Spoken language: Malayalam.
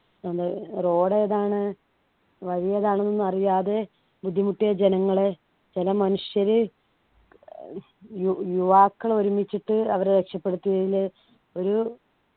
നമ്മുടെ road ഏതാണ് വഴിയേതാണ് എന്നറിയാതെ ബുദ്ധിമുട്ടിയ ജനങ്ങളെ ചില മനുഷ്യര് ഏർ യു യുവാക്കൾ ഒരുമിച്ചിട്ട് അവരെ രക്ഷപ്പെടുത്തി വരുന്ന ഒരു